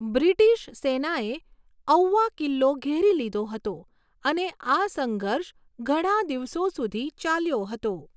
British સેનાએ ઔવા કિલ્લો ઘેરી લીધો હતો અને આ સંઘર્ષ ઘણા દિવસો સુધી ચાલ્યો હતો.